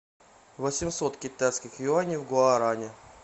восемьсот китайских юаней в гуарани